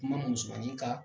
I mana musomanin ka